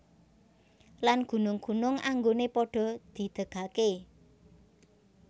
Lan gunung gunung anggoné padha didegaké